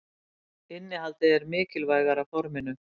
Innihaldið er mikilvægara forminu.